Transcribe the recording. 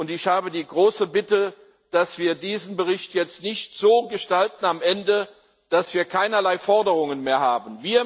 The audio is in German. Ich habe die große Bitte, dass wir diesen Bericht jetzt am Ende nicht so gestalten, dass wir keinerlei Forderungen mehr haben.